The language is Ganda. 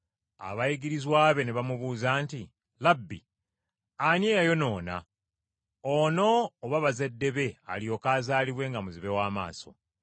Abayigirizwa be ne bamubuuza nti, “Labbi, ani eyayonoona, ono oba bazadde be alyoke azaalibwe nga muzibe w’amaaso?”